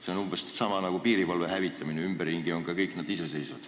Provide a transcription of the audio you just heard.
See on umbes sama nagu piirivalve hävitamine, ümberringi riikides on piirivalve kõikjal iseseisev.